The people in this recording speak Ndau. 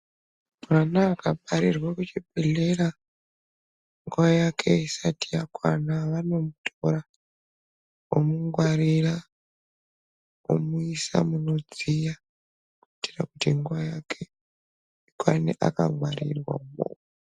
Mwana akabarirwa kuchibhedhlera nguva yake isati yakwana, vanomutora, vomungwarira, vomuyisa munodziya, kuyitira kuti nguwa yake ikwane akangwarirwamwo.